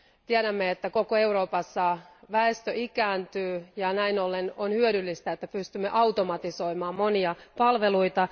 Tiedämme, että koko Euroopassa väestö ikääntyy ja näin ollen on hyödyllistä, että pystymme automatisoimaan monia palveluita.